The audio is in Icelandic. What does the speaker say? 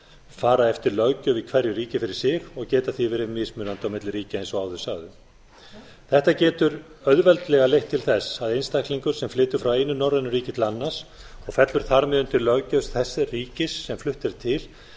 fara eftir löggjöf í hverju ríki fyrir sig og geta tví verið mismunandi milli ríkja eins og áður sagði þetta getur auðveldlega leitt til þess að einstaklingur sem flytur frá einu norrænu ríki til annars og fellur þar með undir löggjöf þess ríkis sem flutt er til